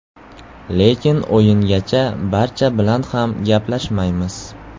Lekin o‘yingacha barcha bilan ham gaplashmaymiz.